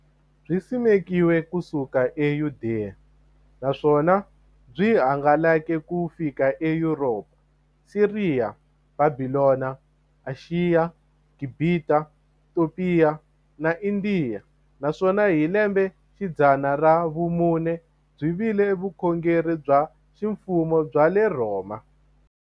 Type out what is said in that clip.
Byisimekiwe ku suka e Yudeya, naswona byi hangalake ku xika e Yuropa, Siriya, Bhabhilona, Ashiya, Gibhita, Topiya na Indiya, naswona hi lembexidzana ra vumune byi vile vukhongeri bya ximfumo bya le Rhoma.